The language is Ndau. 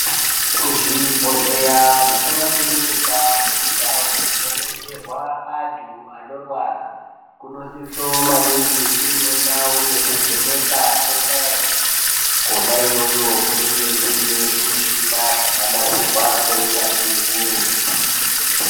Kuzvibhohleya nekumakirinika nekundau dzinobetserwa antu anorwara kunosise maningi kune ndau yekuvheneka kwesaenzi. Kwona iyoyo kunenge kune zvimushina zvakanasirwa neuyanzvi ukurutu.